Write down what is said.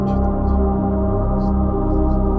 Çıxırdı, çox tez idi.